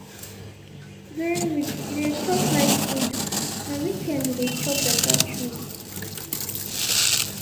during week e dey chop light food na weekend e dey enjoy better treat.